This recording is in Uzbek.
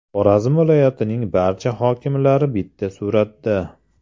Xorazm viloyatining barcha hokimlari bitta suratda.